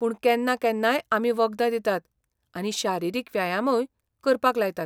पूण केन्ना केन्नाय आमी वखदां दितात आनी शारिरीक व्यायामूय करपाक लायतात.